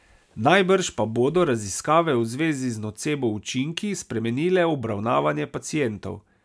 Najbrž pa bodo raziskave v zvezi z nocebo učinki spremenile obravnavanje pacientov.